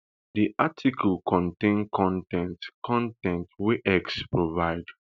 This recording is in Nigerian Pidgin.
dis article contain con ten t con ten t wey x provide